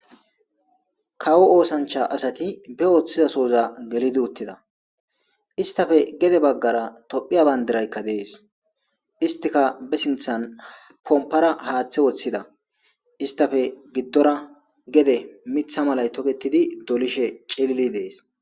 Kawo osancha asati be oothize soza gelid utida . Istappe gede bagara tophiya bandirayka Des . Istika be sinthan pompara hathe wothida. Istappe gidora gede Mitha malay toketid dolishe cilild Des.